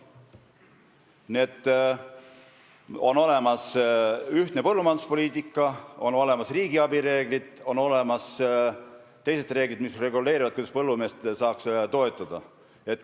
Nii et on olemas ühtne põllumajanduspoliitika, on olemas riigiabi reeglid, on olemas teised reeglid, mis reguleerivad, kuidas põllumeest saaks toetada.